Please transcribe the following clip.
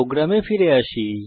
প্রোগ্রামে ফিরে আসি